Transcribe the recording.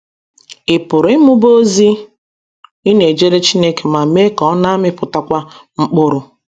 Ị̀ pụrụ ịmụba ozi ị na - ejere Chineke ma mee ka ọ na - amịpụtakwu mkpụrụ?